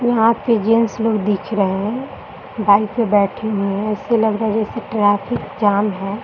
यहाँ पे जेंट्स लोग दिख रहे हैं बाइक पर बैठे हुए है ऐसे लग रहा है जैसे ट्रैफिक जाम है ।